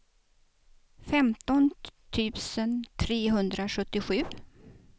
femton tusen trehundrasjuttiosju